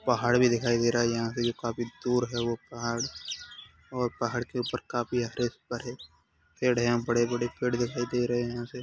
पहाड़ भी दिखाई दे रहा है यहाँ से जो काफी दूर है वो पहाड़ और पहाड़ के ऊपर काफी हरे भरे पेड़ हैं यहाँ बड़े बड़े। पेड़ दिखाई दे रहे हैं यहाँ से।